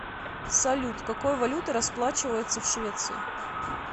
салют какой валютой расплачиваются в швеции